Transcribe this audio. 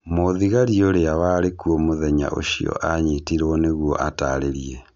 mũthigari ũrĩa warĩkuo mũthenya ũcio anyitirwo nĩguo atarĩrie.